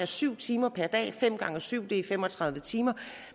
syv timer per dag fem gange syv timer er fem og tredive timer